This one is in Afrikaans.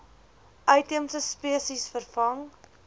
uitheemse spesies vervang